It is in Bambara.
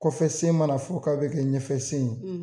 Kɔfɛ sen mana fo k'a bɛ kɛ ɲɛfɛ sen ye.